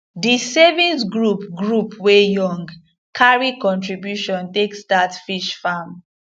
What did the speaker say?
di savings group group wey young carry contribution take start fish farm